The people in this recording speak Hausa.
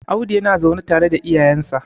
Audu yana zaune tare da iyayensa